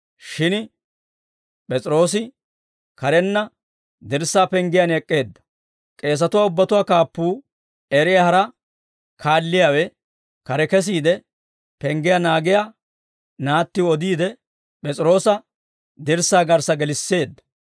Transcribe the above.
Shin P'es'iroose karenna dirssaa penggiyaan ek'k'eedda. K'eesatuwaa ubbatuwaa kaappuu eriyaa hara kaalliyaawe kare kesiide, penggiyaa naagiyaa naattiw odiide, P'es'iroosa dirssaa garssa gelisseedda.